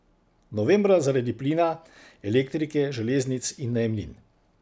Novembra zaradi plina, elektrike, železnic in najemnin.